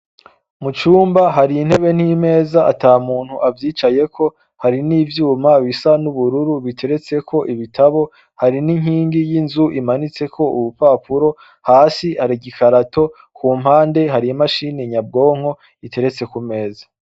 Mu cumba hari intebe n'imeza ata muntu avyicayeko. Hari n'ivyuma bisa n'ubururu bigeretseko ibitabo. Hari n'inkingi y'inzu imanitseko urupapuro. Hasi hari igikarato, ku mpande, hari imashini nyabwonko igeretse ku meza.